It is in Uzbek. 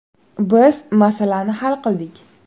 Biz masalani hal qildik.